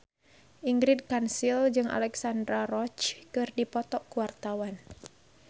Ingrid Kansil jeung Alexandra Roach keur dipoto ku wartawan